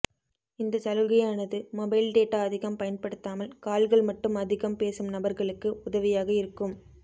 இந்த சலுகையானது mobile data அதிகம் பயன்படுத்தாமல் கால்கள் மட்டும் அதிகம் பேசும் நபர்களுக்கு உதவியாக இருக்கும்